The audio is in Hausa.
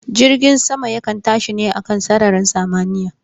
Jirgin sama yakan tashi ne a kan sararin samaniya